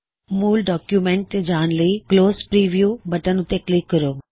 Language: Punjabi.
ਮੂਲ ਡੌਕਯੁਮੈੱਨਟ ਤੇ ਜਾਣ ਲਈ ਕਲੋਜ ਪਰੀਵ਼ਯੂ ਬਟਨ ਉੱਤੇ ਕਲਿੱਕ ਕਰੋ